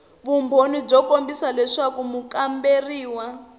vumbhoni byo kombisa leswaku mukamberiwa